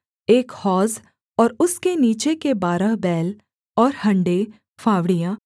एक हौज और उसके नीचे के बारह बैल और हँडे फावड़ियां